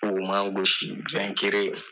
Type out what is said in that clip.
O man gosi